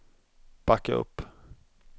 backa upp